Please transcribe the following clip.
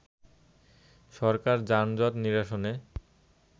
সরকার যানজট নিরসনে